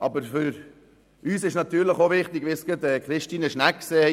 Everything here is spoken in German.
Aber was Christine Schnegg soeben gesagt hat, ist auch für uns wichtig.